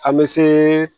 An bɛ se